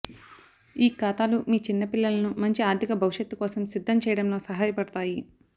ఈ ఖాతాలు మీ చిన్న పిల్లలను మంచి ఆర్థిక భవిష్యత్తు కోసం సిద్ధం చేయడంలో సహాయపడతాయి